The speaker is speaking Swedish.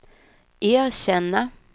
erkänna